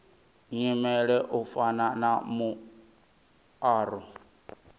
nyimele u fana na muaro